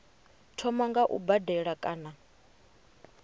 thoma nga u badela kana